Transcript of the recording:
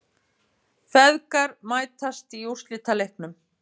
Feðgar mætast í úrslitaleiknum